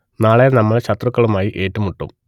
നാളെ നമ്മൾ ശത്രുക്കളുമായി ഏറ്റുമുട്ടും